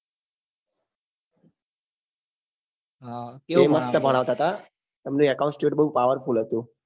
હા એ મસ્ત ભણાવતા હતા તેમનું account state બઉ power full હતું